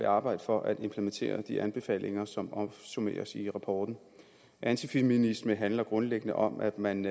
arbejde for at implementere de anbefalinger som opsummeres i rapporten antifeminisme handler grundlæggende om at man